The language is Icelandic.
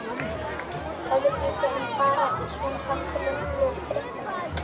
Öðruvísi en bara í svona samtölum við fréttamenn?